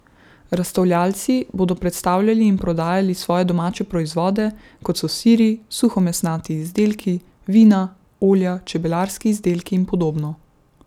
Razstavljavci bodo predstavljali in prodajali svoje domače proizvode, kot so siri, suhomesnati izdelki, vina, olja, čebelarski izdelki in podobno.